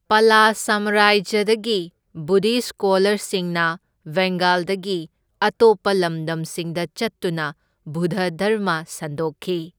ꯄꯂ ꯁꯥꯝꯔꯥꯖ꯭ꯌꯗꯒꯤ ꯕꯨꯙꯤꯁꯠ ꯁ꯭ꯀꯣꯂꯔꯁꯤꯡꯅ ꯕꯦꯡꯒꯥꯜꯗꯒꯤ ꯑꯇꯣꯞꯄ ꯂꯝꯗꯝꯁꯤꯡꯗ ꯆꯠꯇꯨꯅ ꯕꯨꯙ ꯙꯔꯃ ꯁꯟꯗꯣꯛꯈꯤ꯫